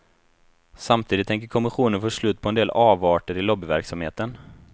Samtidigt tänker kommissionen få slut på en del avarter i lobbyverksamheten.